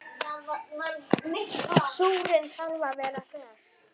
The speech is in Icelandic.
Súrinn þarf að vera hress!